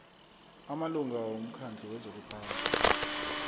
amalunga womkhandlu wezokuphatha